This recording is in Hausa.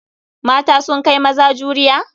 Mata sun kai maza juriya?